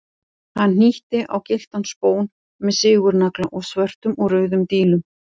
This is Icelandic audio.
Hann hnýtti á gylltan spón með sigurnagla og svörtum og rauðum dílum.